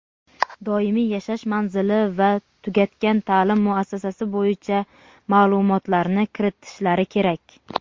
doimiy yashash manzili va tugatgan ta’lim muassasasi bo‘yicha ma’lumotlarni kiritishlari kerak.